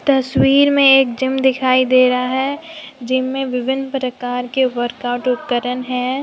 तस्वीर में एक जिम दिखाई दे रहा है जिम में विभिन्न प्रकार के वर्क आउट उपकरण है।